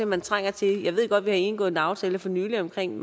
man trænger til jeg ved godt at vi har indgået en aftale for nylig omkring